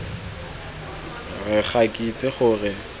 re ga ke itse gore